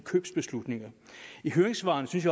købsbeslutninger i høringssvarene synes